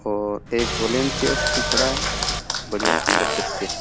और एक भी खड़ा है बढ़िया सुन्दर दृश्य है।